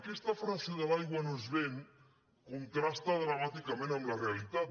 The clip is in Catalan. aquesta frase de l’aigua no es ven contrasta dramàticament amb la realitat